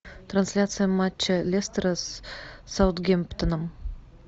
трансляция матча лестера с саутгемптоном